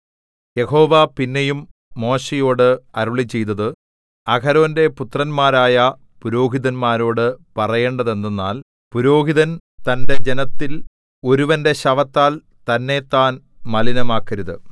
യഹോവ പിന്നെയും മോശെയോട് അരുളിച്ചെയ്തത് അഹരോന്റെ പുത്രന്മാരായ പുരോഹിതന്മാരോടു പറയേണ്ടതെന്തെന്നാൽ പുരോഹിതൻ തന്റെ ജനത്തിൽ ഒരുവന്റെ ശവത്താൽ തന്നെത്താൻ മലിനമാക്കരുത്